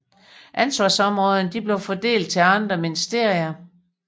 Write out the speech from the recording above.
Ansvarsområderne blev fordelt til andre ministerier